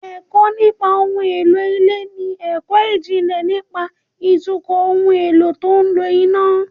Ẹ̀kọ́ nípa ohun èlò ilé ni ẹ̀kọ́ ìjìnlẹ̀ nípa ìtukọ̀ ohun èlò tó ń lo iná